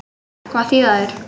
Hvað þýða þær?